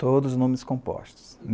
Todos os nomes compostos.